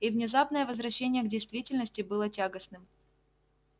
и внезапное возвращение к действительности было тягостным